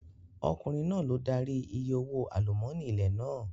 Ọkùnrin náà ló darí I ìyè owó àlúmọ́nì ní ilẹ̀ náà.